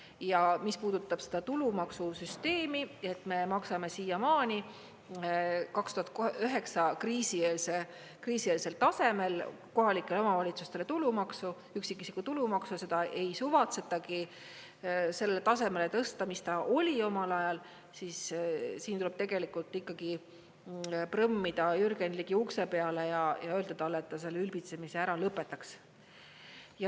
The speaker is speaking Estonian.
Ja mis puudutab seda tulumaksusüsteemi, et me maksame siiamaani 2009 kriisieelsel tasemel kohalikele omavalitsustele tulumaksu, üksikisiku tulumaksu, seda ei suvatseta sellele tasemele tõsta, mis ta oli omal ajal, siis siin tuleb tegelikult ikkagi prõmmida Jürgen Ligi ukse peale ja öelda talle, et ta selle ülbitsemise ära lõpetaks.